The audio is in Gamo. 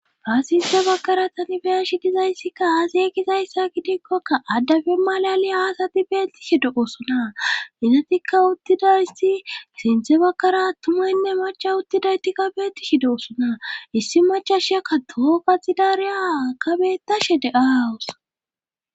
Faasinse bakkara tani beya shidizayssikka aasie gizayssa gidikkokka addafe malali aasati beetti shido osona izatikka uttidayysi sinthe bakkara ttumaynne macha uttidaytikka beeti shido osona issi machashakka toho gaxidariya kabetashe de7aawus